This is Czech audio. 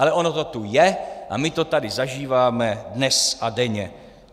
Ale ono to tu je a my to tady zažíváme dnes a denně.